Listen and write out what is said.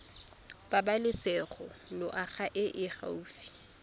pabalesego loago e e gaufi